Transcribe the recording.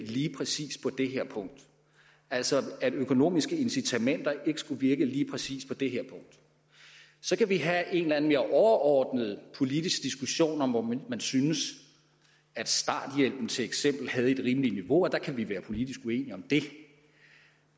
lige præcis skulle det her punkt altså at økonomiske incitamenter ikke skulle virke lige præcis på det her punkt så kan vi have en eller anden mere overordnet politisk diskussion om hvorvidt man synes at starthjælpen til eksempel havde et rimeligt niveau og der kan vi være politisk uenige om det